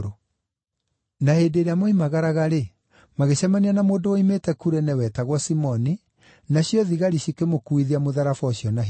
Na hĩndĩ ĩrĩa moimagaraga-rĩ, magĩcemania na mũndũ woimĩte Kurene, wetagwo Simoni, nacio thigari cikĩmũkuuithia mũtharaba ũcio na hinya.